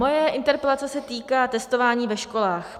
Moje interpelace se týká testování ve školách.